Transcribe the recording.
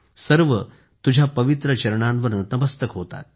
सर्व तुझ्या पवित्र चरणांवर नतमस्तक होतात